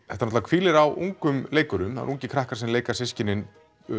náttúrulega hvílir á ungum leikurum það eru ungir krakkar sem leika systkinin